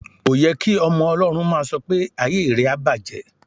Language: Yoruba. Kò ye kí ọmọ Ọlọ́run máà sọ pé "ayé rẹ á bàjẹ́".